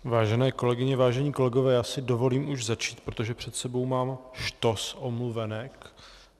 Vážené kolegyně, vážení kolegové, já si dovolím už začít, protože před sebou mám štos omluvenek.